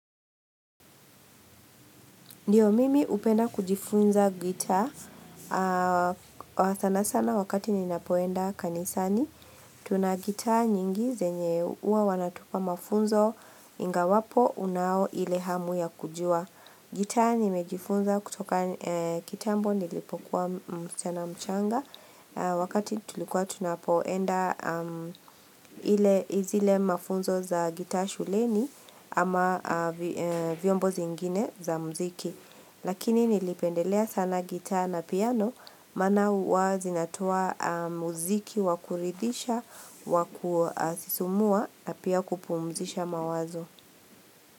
Ndiyo mimi hupenda kujifunza gitaa sana sana wakati ninapoenda kanisani. Tuna gitaa nyingi zenye huwa wanatupa mafunzo ingawapo unao ile hamu ya kujua. Gitaa nimejifunza kutoka kitambo nilipokuwa msichana mchanga wakati tulikuwa tunapoenda ile, zile mafunzo za gitaa shuleni ama vyombo zingine za muziki. Lakini nilipendelea sana gitaa na piano maana hua zinatoa muziki wa kuridisha wa kusisimua na pia kupumzisha mawazo.